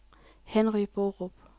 Henry Borup